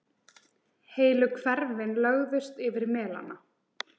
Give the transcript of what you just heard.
Heilu hverfin lögðust yfir melana.